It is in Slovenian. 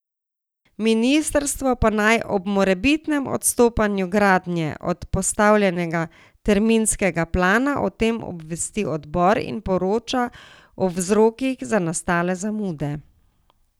Ministrstvo pa naj ob morebitnem odstopanju gradnje od postavljenega terminskega plana o tem obvesti odbor in poroča o vzrokih za nastale zamude.